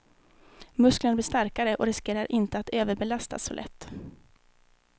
Musklerna blir starkare och riskerar inte att överbelastas så lätt.